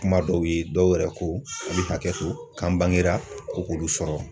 Kuma dɔw ye dɔw yɛrɛ ko k'u bɛ hakɛto k'an bangera ko k'olu sɔrɔ.